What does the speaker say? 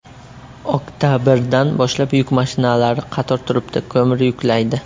Oktabrdan boshlab yuk mashinalari qator turibdi, ko‘mir yuklaydi.